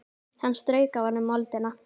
Hann strauk af honum moldina.